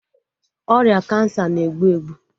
Ọrịa kansa na-egbu egbu